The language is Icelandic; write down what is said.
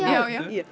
já ég